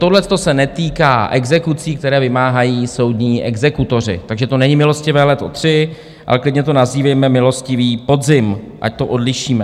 Tohle to se netýká exekucí, které vymáhají soudní exekutoři, takže to není milostivé léto III, ale klidně to nazývejme milostivý podzim, ať to odlišíme.